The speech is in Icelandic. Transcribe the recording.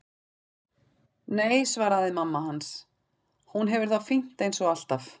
Nei, svaraði mamma hans, hún hefur það fínt eins og alltaf.